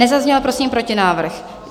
Nezazněl prosím protinávrh.